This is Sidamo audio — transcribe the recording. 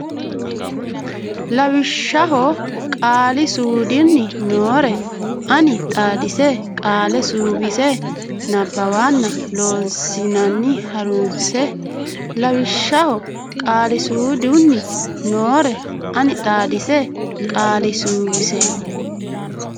lawishshaho qaali suudunni noore ani xaadise qaale suwise nabbawanna Loossinanni ha runse lawishshaho qaali suudunni noore ani xaadise qaale suwise.